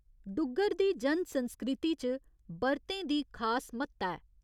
डुग्गर दी जन संस्कृति च बर्तें दी खास म्हत्ता ऐ।